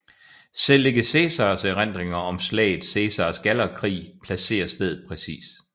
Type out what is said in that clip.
Selv ikke Cæsars erindringer om slaget Cæsars Gallerkrig placerer stedet præcist